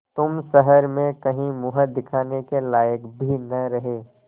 तुम शहर में कहीं मुँह दिखाने के लायक भी न रहे